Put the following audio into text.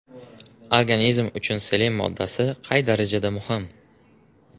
Organizm uchun selen moddasi qay darajada muhim?.